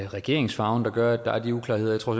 regeringsfarven der gør at der er de uklarheder jeg tror